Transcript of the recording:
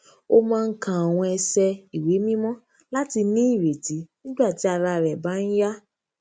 ó máa ń ka àwọn ẹsẹ ìwé mímọ láti ní ìrètí nígbà tí ara rè bá ń yá